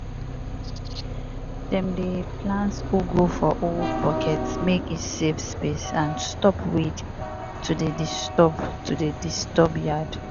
dem dey plant ugu for old bucket mek e save space and stop weed to dey disturb to dey disturb yard.